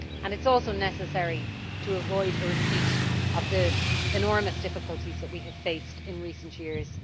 It is also necessary in order to avoid a repeat of the enormous difficulties that we have faced in recent years.